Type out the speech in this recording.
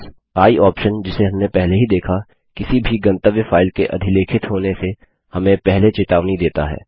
i option जिसे हमने पहले ही देखा किसी भी गंतव्य फाइल के अधिलेखित होने से हमें पहले चेतावनी देता है